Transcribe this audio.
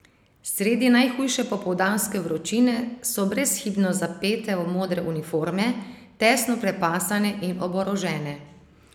Sredi najhujše popoldanske vročine so brezhibno zapete v modre uniforme, tesno prepasane in oborožene.